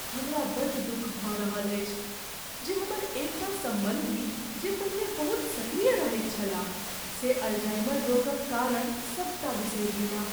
हमरा बड़ दुख भऽ रहल अछि जे हमर एकटा सम्बन्धी जे पहिने बहुत सक्रिय रहैत छलाह से अल्जाइमर रोगक कारण सबटा बिसरि गेलाह।